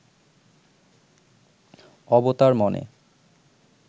অবতার মনে